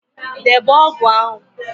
Debe ógụ̀ ahụ